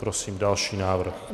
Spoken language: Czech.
Prosím další návrh.